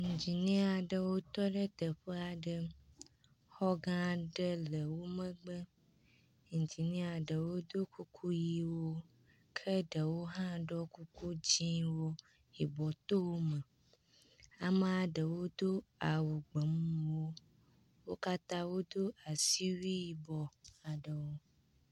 Iŋdziniɛ aɖewo tɔ ɖe teƒe aɖe. Xɔ gã aɖe le wo megbe. Iŋdziniɛ aɖewo do kuku ʋiwo ke ɖewo hã ɖɔ kuku dzɛ̃wo, yibɔ to eme. Amea ɖewo do awu gbemumu. Wo katã wodo asiwui yibɔ aɖewo.